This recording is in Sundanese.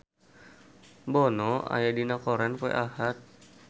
Bono aya dina koran poe Ahad